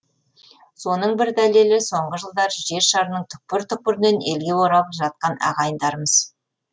соның бір дәлелі соңғы жылдары жер шарының түкпір түкпірінен елге оралып жатқан ағайындарымыз